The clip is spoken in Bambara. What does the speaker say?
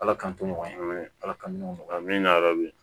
Ala k'an to ɲɔgɔn ye ala ka nɔgɔya min na